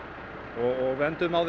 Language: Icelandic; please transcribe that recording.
og við enduðum á